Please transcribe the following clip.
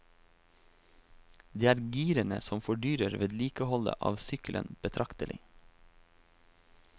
Det er girene som fordyrer vedlikeholdet av sykkelen betraktelig.